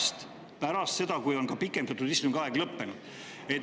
Seda alustati pärast seda, kui oli ka pikendatud istungi aeg lõppenud.